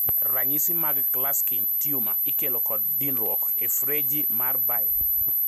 Ranyisi mag Klatskin tumors ikelo kod dinruok e freji mar bile.